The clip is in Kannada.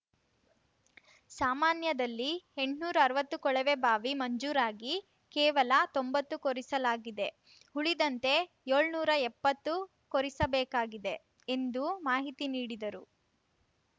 ಸಾಮಾನ್ಯದಲ್ಲಿ ಎಂಟ್ನೂರ್ ಅರ್ವತ್ತು ಕೊಳವೆಬಾವಿ ಮಂಜೂರಾಗಿ ಕೇವಲ ತೊಂಬತ್ತು ಕೊರೆಸಲಾಗಿದೆ ಉಳಿದಂತೆ ಯೊಳ್ನೂರಾ ಎಪ್ಪತ್ತು ಕೊರೆಯಿಸಬೇಕಾಗಿದೆ ಎಂದು ಮಾಹಿತಿ ನೀಡಿದರು